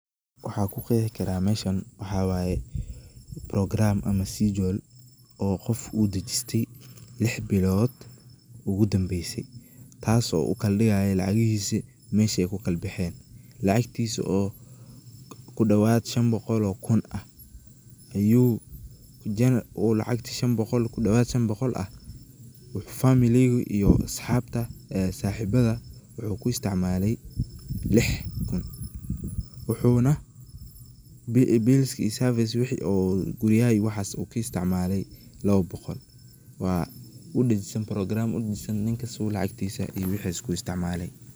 Waxan ku qexi karaa meshan waxa waye progaram ama shedul oo qof uu dejistay lix bilood ogu danbese tasi oo uu kaladigayo lacagihiso mesha ay kukalabexen, lacagtisa oo kudawaad shan boqol oo kun ah ayu uu lacagti kudawaad shan boqol ah wuxu familiga iyo asxabta ee saxibada wuxu ku istimalay lix kun, wuxuna bilski iyo service wixi oo guryaha iyo waxas ka isticmalaay laba boqol waa progaram uu dajisan ninka sidha uu lacagtisa iyo wixisa ku isticmalay.